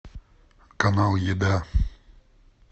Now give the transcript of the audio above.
канал еда